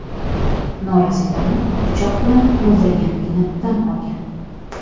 norasidani pichoq bilan o‘ldirganligini tan olgan.